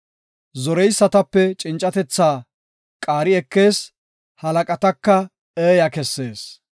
Zoreysatape cincatethaa qaari ekees; halaqataka eeya kessees.